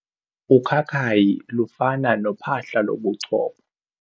Ukhakayi lufana nophahla lobuchopho.